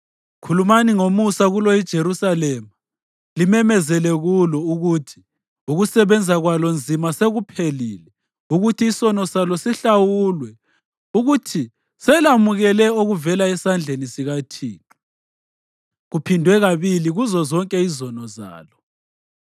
Khulumani ngomusa kulo iJerusalema, limemezele kulo ukuthi ukusebenza kwalo nzima sekuphelile, ukuthi isono salo sihlawulwe, ukuthi selamukele okuvela esandleni sikaThixo kuphindwe kabili kuzozonke izono zalo.